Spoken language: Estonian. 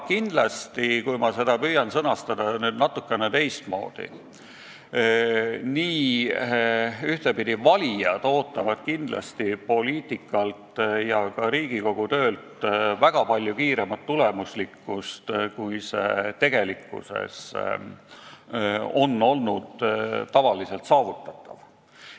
Kui püüan seda sõnastada natukene teistmoodi, siis ühtepidi, valijad ootavad kindlasti poliitikutelt, sh ka Riigikogu töölt väga palju kiiremat tulemuslikkust, kui see tegelikkuses on olnud saavutatav.